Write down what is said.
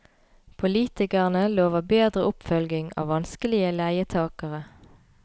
Politikerne lover bedre oppfølging av vanskelige leietagere.